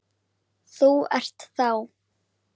Þú ert þá?